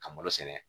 Ka malo sɛnɛ